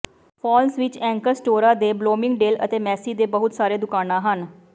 falls ਵਿਚ anchor ਸਟੋਰਾਂ ਦੇ ਬਲੌਮਿੰਗਡੇਲ ਅਤੇ ਮੇਸੀ ਦੇ ਬਹੁਤ ਸਾਰੇ ਦੁਕਾਨਾਂ ਹਨ